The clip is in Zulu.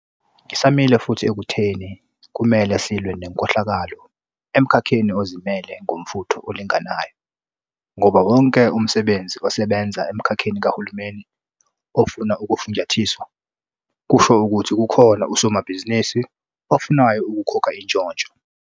Ngisamile futhi ekutheni kumele silwe nenkohlakalo emkhakheni ozimele ngomfutho olinganayo, ngoba wonke umsebenzi osebenza emkhakheni kahulumeni ofuna ukufunjathiswa, kusho ukuthi kukhona usomabhizinisi ofunayo ukukhokha intshontsho.